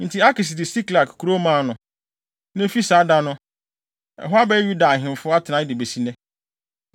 Enti Akis de Siklag kurow maa no, (na efi saa da no, ɛhɔ abɛyɛ Yuda ahemfo atenae de besi nnɛ),